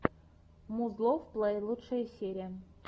музлофф плэй лучшая серия